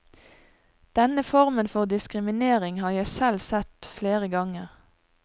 Denne formen for diskriminering har jeg selv sett flere ganger.